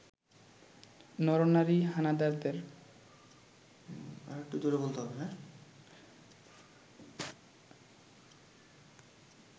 নর-নারী হানাদারদের